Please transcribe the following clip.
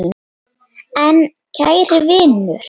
En kæri vinur.